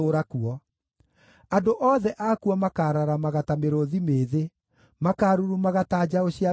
Andũ othe akuo makaararamaga ta mĩrũũthi mĩĩthĩ, makaarurumaga ta njaũ cia mĩrũũthi.